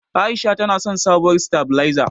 A'isha tana son sabuwar sitabilezar.